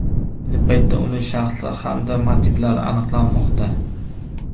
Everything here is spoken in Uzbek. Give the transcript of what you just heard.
Ayni paytda uning shaxsi hamda motivlari aniqlanmoqda.